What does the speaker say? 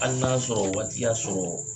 Hali n'a y'a sɔrɔ o waati y'a sɔrɔ